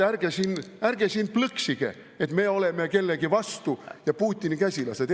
Ärge siin plõksige, et me oleme kellegi vastu ja Putini käsilased.